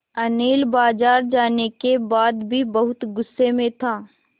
अनिल बाज़ार जाने के बाद भी बहुत गु़स्से में था